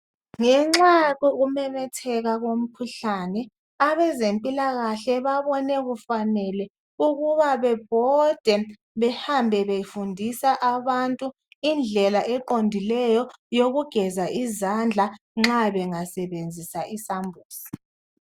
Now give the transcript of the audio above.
Ngenxa yokumemetheka komkhuhlane abezempilakahle babone kufanele ukuba bebhode behambe befundisa abantu indlela eqondileyo yokugeza izandla nxa bengasebenzisa isambuzi.